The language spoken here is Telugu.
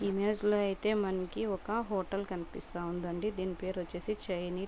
ఇమేజ్లో అయితే మనకి ఒక హోటల్ కనిపిస్తా ఉందండి దీని పేరు వచ్చేసి చైనీ --